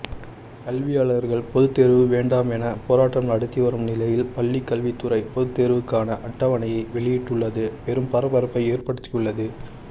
கல்வியாளர்கள் பொதுத்தேர்வு வேண்டாம் என போராட்டம் நடத்தி வரும் நிலையில் பள்ளிக்கல்வித்துறை பொதுத்தேர்வுக்கான அட்டவணையை வெளியிட்டுள்ளது பெரும் பரபரப்பை ஏற்படுத்தியுள்ளது